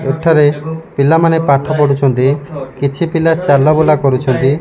ଏଠାରେ ପିଲାମାନେ ପାଠ ପଢୁଚନ୍ତି। କିଛି ପିଲା ଚଲବୁଲା କରୁଚନ୍ତି।